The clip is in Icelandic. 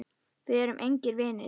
Við erum engir vinir.